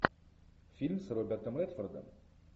фильм с робертом редфордом